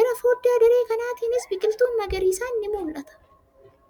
Gara fooddaa daree kanaatinis biqiltuun magariisaan ni mul'ata.